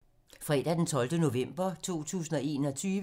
Fredag d. 12. november 2021